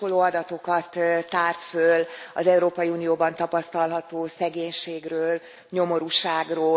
Hát sokkoló adatokat tárt föl az Európai Unióban tapasztalható szegénységről, nyomorúságról.